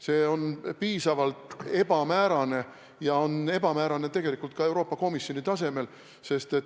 See kõik on üsna ebamäärane, ja seda tegelikult ka Euroopa Komisjoni tasemel.